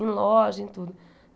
Em loja, em tudo.